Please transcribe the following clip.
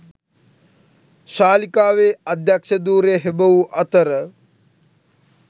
ශාලිකාවේ අධ්‍යක්ෂ ධුරය හෙබවූ අතර